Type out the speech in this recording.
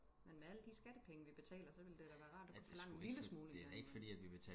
men med alle de skattepenge vi betaler så ville det da være rart at kunne forlange en lille smule en gang i mellem